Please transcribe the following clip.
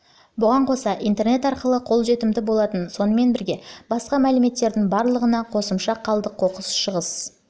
бұған қоса интернет арқылы қолжетімді болатын сонымен бірге басқа мәліметтердің барлығына қосымша қалдық қоқыс шығыс